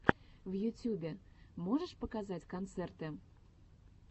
в ютюбе можешь показать концерты